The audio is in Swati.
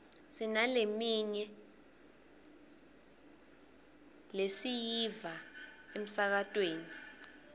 sinalemirye leslyiva emsakatweni